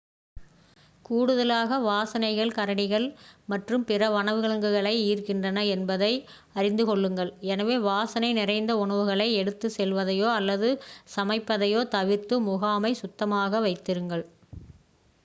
கூடுதலாக வாசனைகள் கரடிகள் மற்றும் பிற வனவிலங்குகளை ஈர்க்கின்றன என்பதை அறிந்து கொள்ளுங்கள் எனவே வாசனை நிறைந்த உணவுகளை எடுத்துச் செல்வதையோ அல்லது சமைப்பதையோ தவிர்த்து முகாமை சுத்தமாக வைத்திருங்கள்